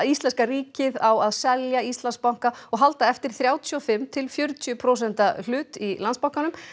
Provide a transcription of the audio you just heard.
íslenska ríkið á að selja Íslandsbanka og halda eftir þrjátíu og fimm til fjörutíu prósenta hlut í Landsbankanum